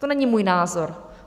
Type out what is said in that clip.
To není můj názor.